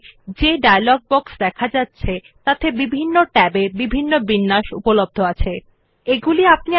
this is accessed by first clicking on the format option in the menu bar and then clicking on bullets and numbering